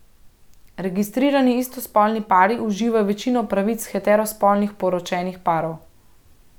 Registrirani istospolni pari uživajo večino pravic heterospolnih poročenih parov.